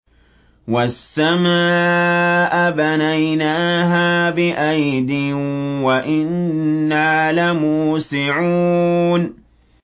وَالسَّمَاءَ بَنَيْنَاهَا بِأَيْدٍ وَإِنَّا لَمُوسِعُونَ